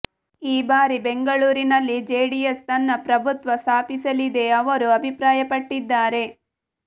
ಈ ಬಾರಿ ಬೆಂಗಳೂರಿನಲ್ಲಿ ಜೆಡಿಎಸ್ ತನ್ನ ಪ್ರಭುತ್ವ ಸ್ಥಾಪಿಸಲಿದೆ ಅವರು ಅಭಿಪ್ರಾಯಪಟ್ಟಿದ್ದಾರೆ